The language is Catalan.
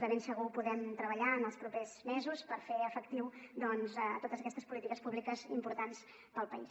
de ben segur que podrem treballar en els propers mesos per fer efectives doncs totes aquestes políti·ques públiques importants per al país